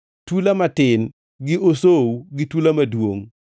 tula matin, gi osou, gi tula maduongʼ,